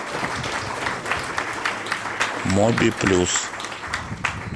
моби плюс